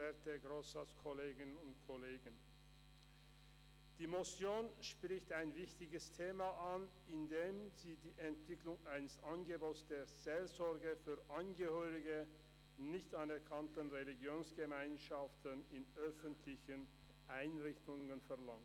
Die Motion spricht ein wichtiges Thema an, indem sie die Entwicklung eines Angebots der Seelsorge für Angehörige nicht anerkannter Religionsgemeinschaften in öffentlichen Einrichtungen verlangt.